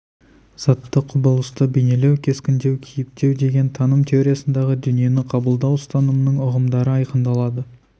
затты құбылысты бейнелеу кескіндеу кейіптеу деген таным теориясындағы дүниені қабылдау ұстанымының ұғымдары айқындалады